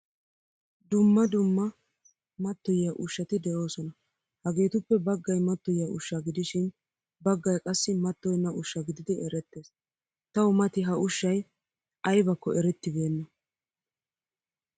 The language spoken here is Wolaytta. Duma dumma matoyiyaa ushshati deosona. Hageetuppe baggaay mattoyiya ushsha gidishin baggaay qassi mattoyena ushsha gididi erettees. Tawu mati ha ushshay aybakko eretibena.